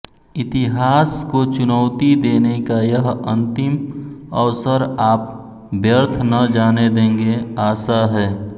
इतिहास को चुनौती देने का यह अंतिम अवसर आप व्यर्थ न जाने देंगे आशा है